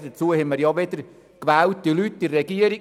Dazu haben wir gewählte Personen in der Regierung;